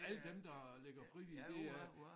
Alle dem der ligger frivillig det øh